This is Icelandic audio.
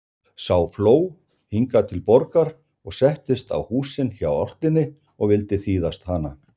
Sá fló hingað til Borgar og settist á húsin hjá álftinni og vildi þýðast hana.